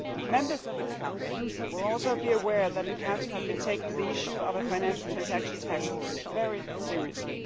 Members of this House will also be aware that the Council has been taking the issue of a financial transaction tax very seriously.